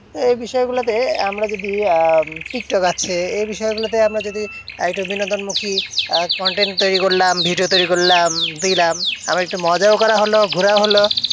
এই বিষয়গুলোতে আমরা যদি আহ টিকটক আছে, এই বিষয়গুলোতে আমরা যদি একটা বিনোদন মুখী আহ content তৈরী করলাম। video তৈরী করলাম। দিলাম আমার একটু মজাও করা হলো ঘোড়াও হলো।